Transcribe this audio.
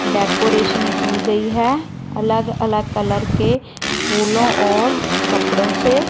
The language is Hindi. डेकोरेशन की गई है अलग अलग कलर के फूलों और कपड़ों से।